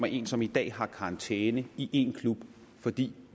en som i dag har karantæne i én klub fordi